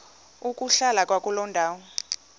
ukuhlala kwakuloo ndawo